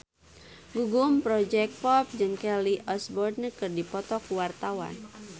Gugum Project Pop jeung Kelly Osbourne keur dipoto ku wartawan